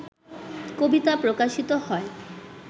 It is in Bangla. কবিতা প্রকাশিত হয়